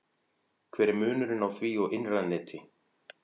hver er munurinn á því og innra neti